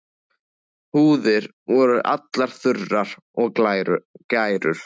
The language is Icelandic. Húðir voru allar þurrar og gærur.